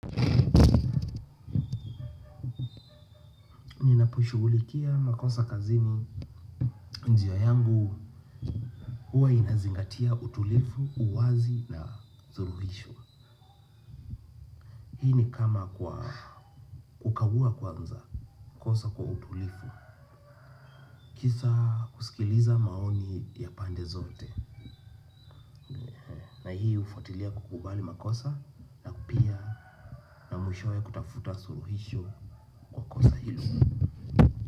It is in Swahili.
Ninapoishughulikia makosa kazini njia yangu huwa inazingatia utulivu, uwazi na suluhisho. Hii ni kama kwa kukagua kwanza, kosa kwa utulivu. Kisa kusikiliza maoni ya pande zote. Na hii hufuatilia kukubali makosa na pia mwishowe kutafuta suluhisho la kosa hilo.